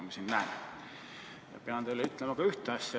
Ma pean teile ütlema ühte asja.